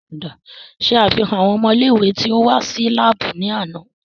Ṣe afihan awọn ọmọ ile-iwe ti o wa si laabu lánà!